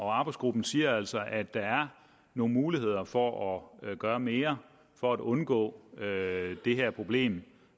arbejdsgruppen siger altså at der er nogle muligheder for at gøre mere for at undgå det her problem